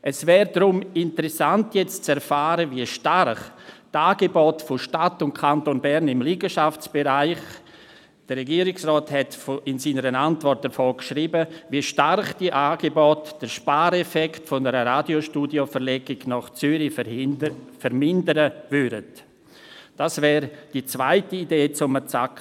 Es wäre deshalb interessant zu erfahren, wie stark die Angebote von Stadt und Kanton Bern im Liegenschaftsbereich den Spareffekt einer Radiostudioverlegung nach Zürich vermindern würden.